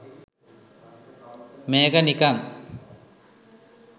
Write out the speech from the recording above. මේක නිකං